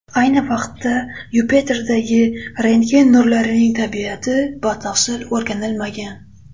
Ayni vaqtda Yupiterdagi rentgen nurlarining tabiati batafsil o‘rganilmagan.